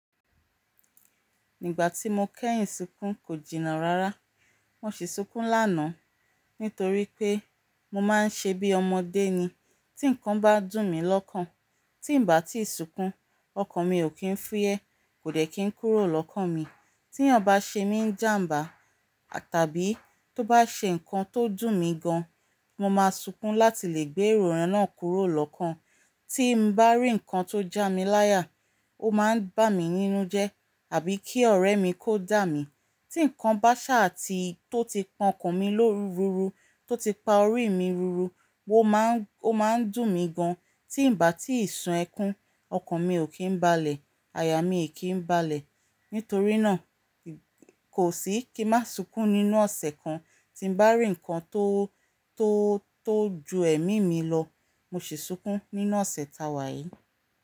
Ígbà tí mo kẹ́yìn sunkún kò jìnnà rárá. Mo sì sunkún lánàá nítorí pé mo máa ń ṣe bí ọmọdé ni. Tí nǹkan bá dùn mi lọ́kàn, tí ń bà tí ì sunkún, ọkàn mi ò kí ń fúyẹ́, kò dẹ̀ kí ń kúrò lọ́kàn mi. Tí ẹ̀yań bá ṣe mí njáǹbá tàbí tó bá ṣe nǹkan tó dùn mi gan, mo máa sunkún láti lè gbé ero yen náà kúrò lọ́kàn. Tí n bá rí ǹkan tó já mi láyà, ó máa ń bá mi nínú jẹ́ àbí kí ọ̀rẹ́ mi kó dà mí. Tí nǹkan bá ṣáà tí tó ti pọn ọkàn mi lórúru tó ti pa orí mi ruru, ó máa ń dùn mi gan. Tí ń bà tíì sun ẹkún, ọkàn mi ò kí ń balẹ̀, aya mi ò kí ń balẹ̀. Nítorínáà, kò sií kí n má sunkún nínú ọ̀sẹ̀ kan. Tí n bá rí ǹkan tó, tó, tó ju ẹ̀mí mi lọ, mo sì sunkún nínú ọ̀sẹ̀ ta wà yìí.